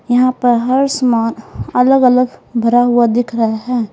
यहां पर हर सामान अलग अलग भरा हुआ दिख रहा है।